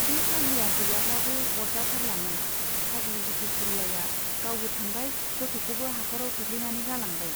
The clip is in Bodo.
बे फाग्लिया गैयाब्लाबो आरजाथारलामोन , फाग्लि हथ'सुरियाया गावबो थांबाय , गथ'खौबो हाख'राव खोख्लैनानै गालांबाय।